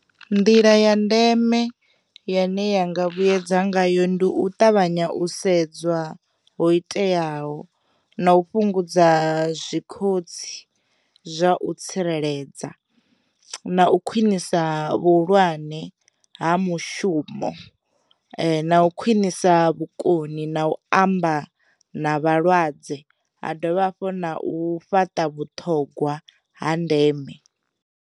Nḓila ya ndeme ya na yanga vhuyedza ngayo ndi u ṱavhanya u sedzwa ho iteaho, na u fhungudza zwikhotsi zwa u tsireledza, na u khwinisa vhu hulwane ha mushumo, na u khwinisa vhukoni na u amba na vhalwadze, ha dovha hafhu na u fhaṱa vhuṱhogwa ha ndeme.